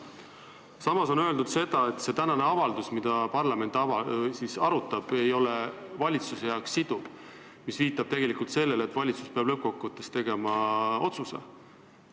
Samas on öeldud, et see tänane avaldus, mida parlament arutab, ei ole valitsusele siduv, mis viitab sellele, et valitsus peab lõppkokkuvõttes tegema otsuse.